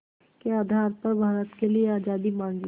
के आधार पर भारत के लिए आज़ादी मांगी